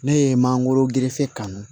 Ne ye mangoro gerefe kanu